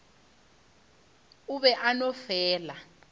o be a no fela